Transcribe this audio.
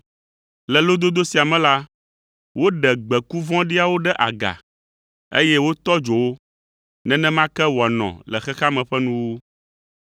“Le lododo sia me la, woɖe gbeku vɔ̃ɖiawo ɖe aga, eye wotɔ dzo wo; nenema ke wòanɔ le xexea me ƒe nuwuwu.